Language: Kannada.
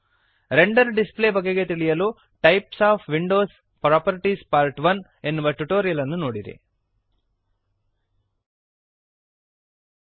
ರೆಂಡರ್ ಡಿಸ್ಪ್ಲೇ ಬಗೆಗೆ ತಿಳಿಯಲು types of windows properties part 1 types of windows properties part ಎನ್ನುವ ಟ್ಯುಟೋರಿಯಲ್ ಅನ್ನು ನೋಡಿರಿ